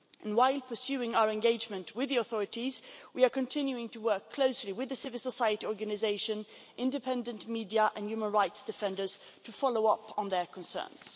While pursuing our engagement with the authorities, we are continuing to work closely with civil society organisations, independent media and human rights defenders to follow up on their concerns.